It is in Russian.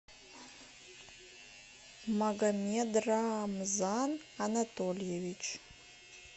магомедрамзан анатольевич